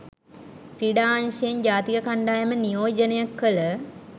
ක්‍රීඩා අංශයෙන් ජාතික කණ්ඩායම නියෝජනය කළ